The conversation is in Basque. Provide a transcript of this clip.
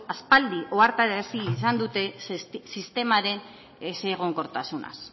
aspaldi ohartarazi izan dute sistemaren ezegonkortasunaz